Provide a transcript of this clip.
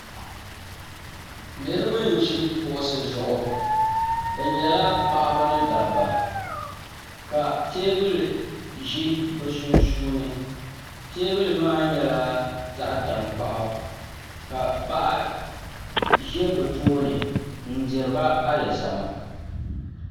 Niraba n ʒi kuɣusi zuɣu bi nyɛla paɣaba ni dabba ka teebuli ʒi bi sunsuuni teebuli maa nyɛla zaɣ tankpaɣu ka paɣa ʒɛ bi tooni n diriba alizama